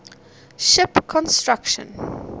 ship construction